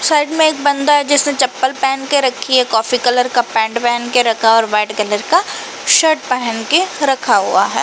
Side में एक बंदा है। जिसने चप्पल पेहेन के रखी है कोफ़ी कलर का पेंट पेहेन के रखा है और वाईट कलर का शर्ट पेहेन के रखा हुआ है।